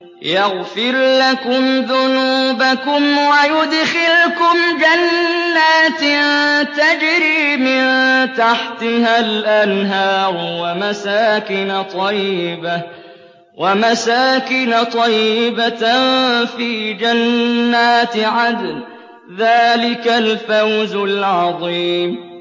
يَغْفِرْ لَكُمْ ذُنُوبَكُمْ وَيُدْخِلْكُمْ جَنَّاتٍ تَجْرِي مِن تَحْتِهَا الْأَنْهَارُ وَمَسَاكِنَ طَيِّبَةً فِي جَنَّاتِ عَدْنٍ ۚ ذَٰلِكَ الْفَوْزُ الْعَظِيمُ